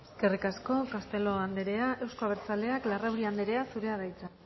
eskerrik asko castelo andrea euzko abertzaleak larrauri andrea zurea da hitza